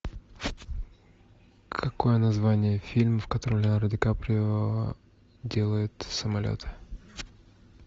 какое название фильма в котором леонардо ди каприо делает самолеты